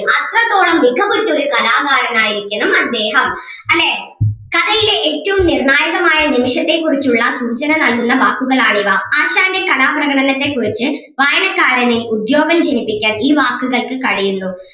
അത്രത്തോളം മികവുറ്റൊരു കലാകാരൻ ആയിരിക്കണം അദ്ദേഹം അല്ലേ കഥയിലെ ഏറ്റവും നിർണായകമായ നിമിഷത്തെ കുറിച്ചുള്ള സൂചന നൽകുന്ന വാക്കുകളാണിവ ആശാന്റെ കലാപ്രകടനത്തെ കുറിച്ച് വായനക്കാരനിൽ ഉദ്വേഗം ജനിപ്പിക്കാൻ ഈ വാക്കുകൾക്ക് കഴിയുന്നു.